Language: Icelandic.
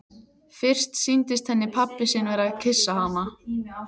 Fyrst sýndist henni pabbi sinn vera að kyssa hana.